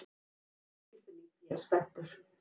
Þetta er góð tilfinning, ég er spenntur.